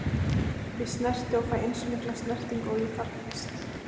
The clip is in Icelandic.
Ég snerti og fæ eins mikla snertingu og ég þarfnast.